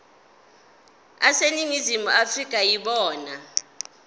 aseningizimu afrika yibona